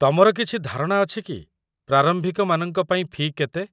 ତମର କିଛି ଧାରଣା ଅଛି କି ପ୍ରାରମ୍ଭିକମାନଙ୍କ ପାଇଁ ଫି' କେତେ?